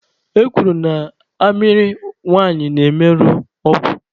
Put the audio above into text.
E kwuru na amịrị nwanyị na-emerụ ọgwụ.